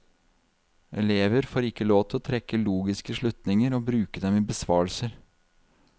Elever får ikke lov til å trekke logiske slutninger og bruke dem i besvarelser.